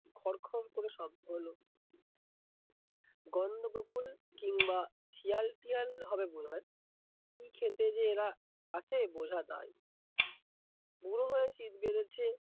খরখর করে শব্দ হলো, গন্দ বকুল কিমবা শিয়াল পিয়াল হবে বোধ হয়, কি খেতে যে এরা আসে বোঝা দায়। বুড়ো হয়ে শীত বেড়েছে।